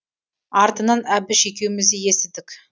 артынан әбіш екеуіміз де естідік